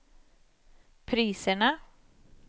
priserna